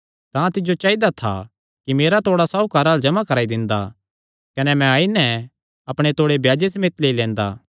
तां तिज्जो चाइदा था कि मेरा तोड़ा साहुकारां अल्ल जमा कराई दिंदा कने मैं आई नैं अपणे तोड़े ब्याजे समेत लेई लैंदा